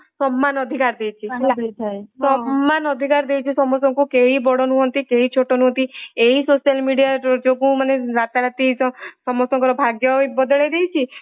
ସମାନ ଅଧିକାର ଦେଇଛି ସମାନ ଅଧିକାର ଦେଇଛି ସମସ୍ତଙ୍କୁ କେହି ବଡ ନୁହନ୍ତି କେହି ଛୋଟ ନୁହନ୍ତି। ଏଇ social mediaଯୋଗୁ ତ ରତାରାତି ତ ସମସ୍ତଙ୍କର ଭାଗ୍ୟ ବଦଳେଇ ଦେଇଛି ଏଇ